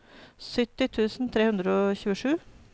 sytti tusen tre hundre og tjuesju